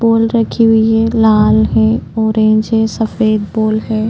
Ball रखी हुई है लाल है ऑरेंज है सफेद बॉल है।